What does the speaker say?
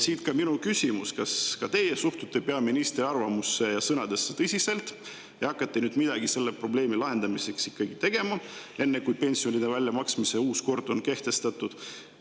Siit ka minu küsimus: kas ka teie suhtute peaministri arvamusse ja sõnadesse tõsiselt ja hakkate selle probleemi lahendamiseks ikkagi midagi tegema, enne kui pensionide väljamaksmise uus kord on kehtestatud?